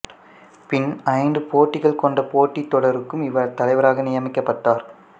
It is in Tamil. பின் ஐந்து போட்டிகள் கொண்ட போட்டித் தொடருக்கும் இவர் தலைவராக நியமிக்கப்பட்டார்